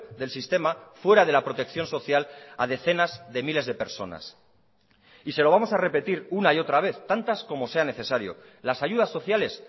del sistema fuera de la protección social a decenas de miles de personas y se lo vamos a repetir una y otra vez tantas como sean necesario las ayudas sociales